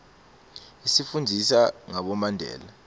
isifundzisa ngabomandela